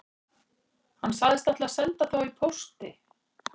Hann sagðist ætla að senda þá í pósti